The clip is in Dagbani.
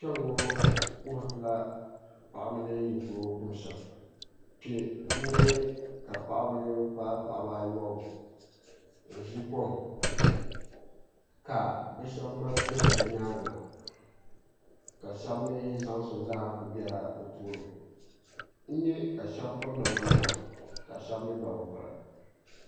Kpɛŋŋo wuhuritila paɣaba ni yi kuligi kuni shɛm n nyɛ kq paɣaba paai paɣaba ayobu n ʒi kom ka bi shab ŋmaligi kihiri bi nyaangi na ka shab mii zaŋsim zaaha ku biɛla bi tooni n nyɛ ka shab piri namda nima ka shab mii gba bi piri